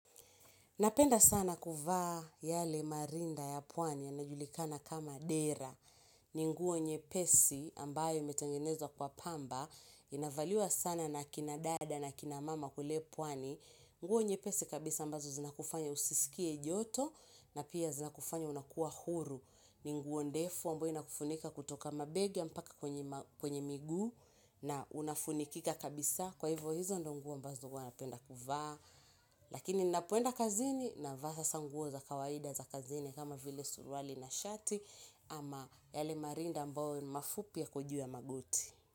Napenda sana kuvaa yale marinda ya pwani ya najulikana kama dera. Ni nguo nye pesi ambayo imetangenezwa kwa pamba. Inavaliwa sana na kina dada na kina mama kule pwani. Nguo nyepesi kabisa ambazo zinakufanya usisikie joto na pia zinakufanya unakua huru. Ni nguo ndefu ambayo inakufunika kutoka mabegi ampaka kwenye miguu na unafunikika kabisa. Kwa hivyo hizo ndo nguo ambazo huwana penda kuvaa. Lakini ninapo enda kazini na vaa hasanguo za kawaida za kazini kama vile suruali na shati ama yale marinda ambao mafupia yako juuyaa magoti.